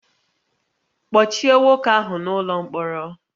Kpọchie nwoke ahụ n'ụlọ mkpọrọ